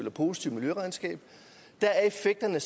et positivt miljøregnskab er effekterne